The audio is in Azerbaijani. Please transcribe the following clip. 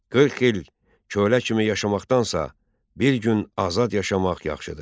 40 il kölə kimi yaşamaqdansa, bir gün azad yaşamaq yaxşıdır.